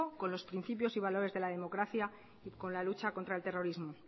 con los principios y valores de la democracia y con la lucha contra el terrorismo